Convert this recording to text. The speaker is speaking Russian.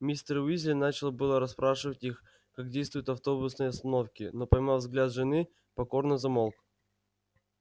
мистер уизли начал было расспрашивать их как действуют автобусные остановки но поймав взгляд жены покорно замолк